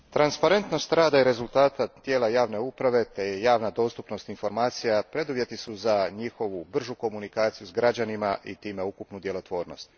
Gospodine predsjedniče, transparentnost rada i rezultata tijela javne uprave te javna dostupnost informacija preduvjeti su za njihovu bržu komunikaciju s građanima i time ukupnu djelotvornost.